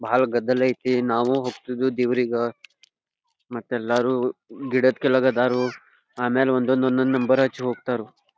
ಬಹಳ್ ಗದ್ದಲ ಐತಿ ನಾವು ದೇವರಿಗ ಮತ್ತೆ ಎಲ್ಲಾರು ಗಿಡದ್ ಕೆಳಗ್ ಅಡರು ಆಮೇಲೆ ಒಂದ್ ಒಂದ್ ಒಂದ್ ನಂಬರ್ ಹಚ್ ಹೋಗತ್ತಾರೋ .